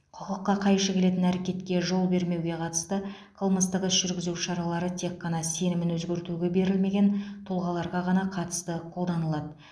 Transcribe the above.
құқыққа қайшы келетін әрекетке жол бермеуге қатысты қылмыстық іс жүргізу шаралары тек қана сенімін өзгертуге берілмеген тұлғаларға ғана қатысты қолданылады